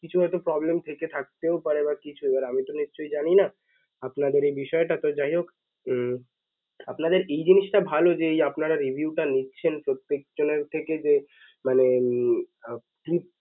কিছু হয়ত problem থেকে থাকতেও পারে বা কিছু আর আমি তো নিশ্চয়ই জানি না আপনাদের এই বিষয়টা তো যাইহোক উম আপনাদের এই জিনিসটা ভাল যে এই আপনারা review টা নিচ্ছেন প্রত্যেক জনের থেকে যে মানে উম